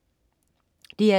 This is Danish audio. DR2: